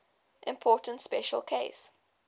important special case